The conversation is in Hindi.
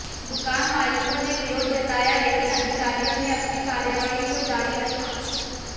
दुकान मालिकों ने विरोध जताया लेकिन अधिकारियों ने अपनी कार्रवाही को जारी रखा